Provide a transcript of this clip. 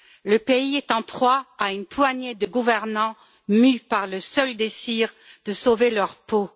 Le pays est en proie à une poignée de gouvernants mus par le seul désir de sauver leur peau.